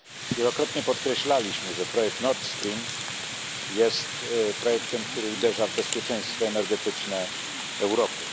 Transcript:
Wielokrotnie podkreślaliśmy, że projekt Nord Stream jest projektem, który uderza w bezpieczeństwo energetyczne Europy.